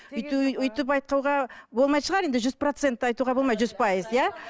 өйтіп айтуға болмайтын шығар енді жүз процент айтуға болмайды жүз пайыз иә